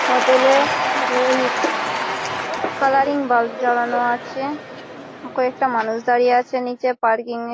হোটেলে colouring bulb জ্বালানো আছে। ওপরে একটা মানুষ দাঁড়িয়ে আছে নিচে পার্কিংয়ে ।